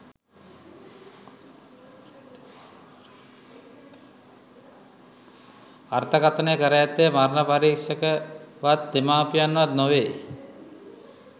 අර්ථකථනය කර ඇත්තේ මරණ පරික්ෂකවත් දෙමාපියන්වත් නොවේ